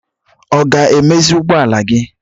Ọ ga-emezi ụgbọala gị?